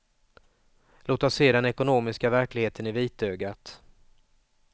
Låt oss se den ekonomiska verkligheten i vitögat.